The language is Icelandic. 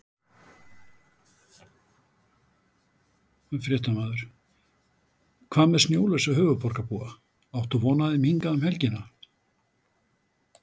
Fréttamaður: Hvað með snjólausa höfuðborgarbúa, áttu von á þeim hingað um helgina?